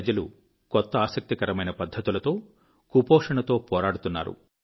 ప్రజలు కొత్త ఆసక్తి కరమైన పద్ధతులలో కుపోషణతో పోరాడుతున్నారు